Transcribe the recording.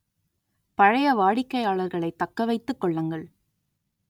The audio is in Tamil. பழைய வாடிக்கையாளர்களைத் தக்க வைத்துக் கொள்ளுங்கள்